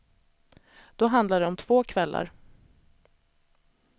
Då handlade det om två kvällar.